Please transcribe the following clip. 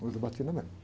não usa batina mesmo.